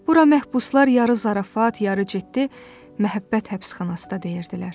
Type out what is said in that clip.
Bura məhbuslar yarı zarafat, yarı ciddi Məhəbbət həbsxanası da deyirdilər.